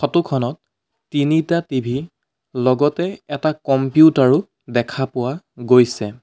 Photo খনত তিনিটা TV লগতে এটা কম্পিউটাৰ ও দেখা পোৱা গৈছে।